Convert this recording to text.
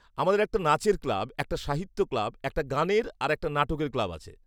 -আমাদের একটা নাচের ক্লাব, একটা সাহিত্য ক্লাব, একটা গানের আর একটা নাটকের ক্লাব আছে।